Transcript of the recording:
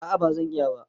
A'a bazan iya ba